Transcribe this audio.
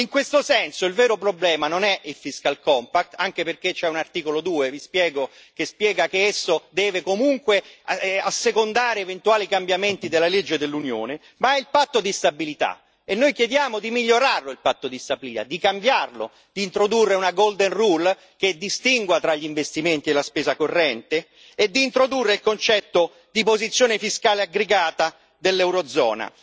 E in questo senso, il vero problema non è il fiscal compact anche perché c'è un articolo 2 vi spiego che spiega che esso deve comunque assecondare eventuali cambiamenti delle leggi dell'Unione, ma è il patto di stabilità e noi chiediamo di migliorarlo, di cambiarlo, di introdurre una golden rule che distingua tra gli investimenti e la spesa corrente e di introdurre il concetto di posizione fiscale aggregata dell'eurozona.